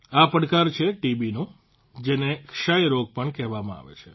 આ પડકાર છે ટીબીનો જેને ક્ષય રોગ પણ કહેવામાં આવે છે